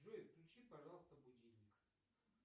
джой включи пожалуйста будильник